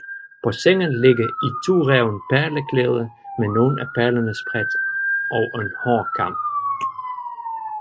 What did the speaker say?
På sengen ligger en itureven perlekæde med nogle af perlerne spredt og en hårkam